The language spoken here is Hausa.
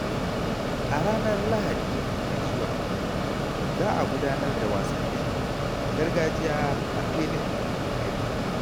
A ranar Lahadi mai zuwa, za a gudanar da wasannin gargajiya a filin gari.